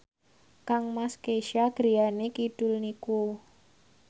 kangmas Kesha griyane kidul niku